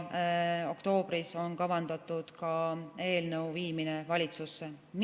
Oktoobris on kavandatud ka eelnõu viimine valitsusse.